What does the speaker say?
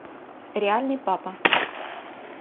реальный папа